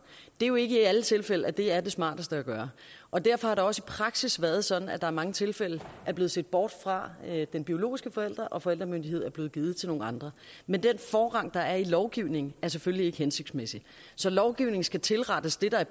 det er jo ikke i alle tilfælde at det er det smarteste at gøre og derfor har det også i praksis været sådan at der i mange tilfælde er blevet set bort fra den biologiske forælder og forældremyndigheden er så blevet givet til nogle andre men den forrang der er i lovgivningen er selvfølgelig ikke hensigtsmæssig så lovgivningen skal tilrettes det der i